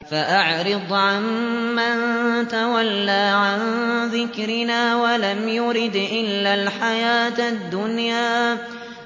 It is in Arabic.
فَأَعْرِضْ عَن مَّن تَوَلَّىٰ عَن ذِكْرِنَا وَلَمْ يُرِدْ إِلَّا الْحَيَاةَ الدُّنْيَا